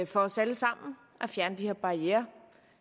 for os alle sammen at fjerne de her barrierer